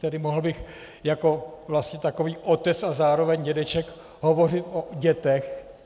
Tady mohl bych jako vlastně takový otec a zároveň dědeček hovořit o dětech.